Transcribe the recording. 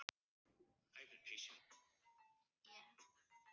Ég hef beðið, svaraði Jón Arason.